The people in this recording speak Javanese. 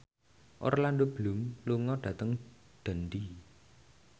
Orlando Bloom lunga dhateng Dundee